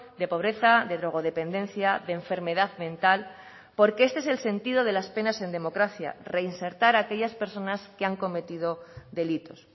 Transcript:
de pobreza de drogodependencia de enfermedad mental porque este es el sentido de las penas en democracia reinsertar a aquellas personas que han cometido delitos